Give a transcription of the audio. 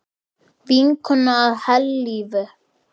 Vinkona að eilífu.